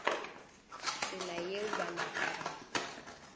tsela yeo ba napa ba